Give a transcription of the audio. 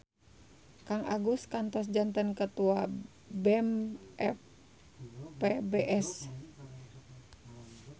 Kang Agus kantos janten ketua BEM FPBS